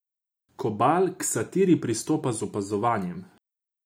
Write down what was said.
Kobal k satiri pristopa z opazovanjem.